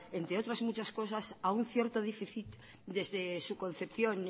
entre otras muchas cosas a un cierto déficit desde su concepción